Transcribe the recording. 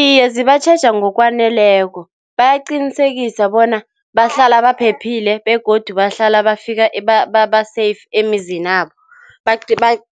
Iye, zibatjheja ngokwaneleko, bayaqinisekisa bona bahlala baphephile begodu bahlala bafika ba-safe emizinabo.